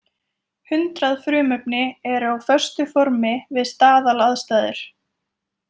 Hundrað frumefni eru á föstu formi við staðalaðstæður.